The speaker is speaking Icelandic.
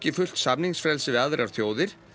fullt samningsfrelsi við aðrar þjóðir